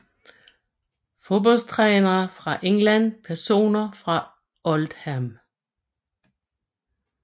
Fodboldtrænere fra England Personer fra Oldham